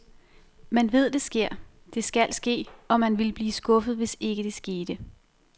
Man ved det sker, det skal ske og man ville blive skuffet, hvis ikke det skete.